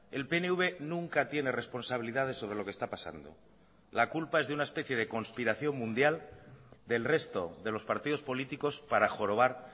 el pnv nunca tiene responsabilidades sobre lo que está pasando la culpa es de una especie de conspiración mundial del resto de los partidos políticos para jorobar